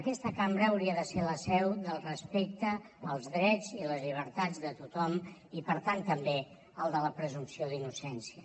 aquesta cambra hauria de ser la seu del respecte els drets i les llibertats de tothom i per tant també el de la presumpció d’innocència